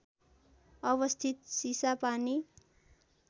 अवस्थित चिसापानी